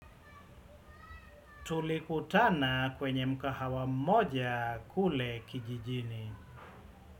Tulikutana kwenye mgahawa mmoja kule kijijini.